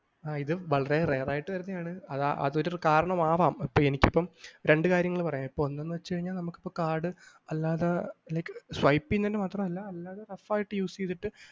ആ ഇത് വളരെ rare ആയിട്ട് വരുന്നതാണു അതൊരു കാരണമാവാം എനിക്കിപ്പൊ രണ്ട് കാര്യങ്ങൾ പറയാം ഒന്ന് ന്നു വെച്ച്കഴിഞ്ഞാൽ നമുക്കിപ്പൊ കാർഡ് അല്ലാതെ like swipe ചെയ്യുന്നത് മാത്രമല്ല rough ആയിട്ട് use ചെയ്തിട്ട്